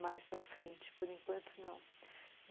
Mais para frente, por enquanto, não.